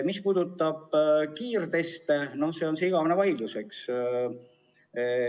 Mis puudutab kiirteste, siis see on igavene vaidlusteema.